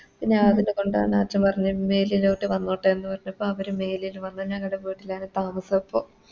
പിന്നെ അതിനെകൊണ്ടാണ് അച്ഛൻ പറഞ്ഞ് മേലിലൊട്ടെ വന്നോട്ടെ പറഞ്ഞപ്പോ അവര് മേലില് വന്നു ഞങ്ങടെ വീട്ടിലാണ് താമസപ്പൊ